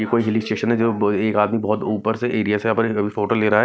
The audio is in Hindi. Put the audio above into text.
ये कोई हिली स्टेशन है जो ब एक आदमी बहोत ऊपर से एरिया से अपनी फोटो ले रहा है।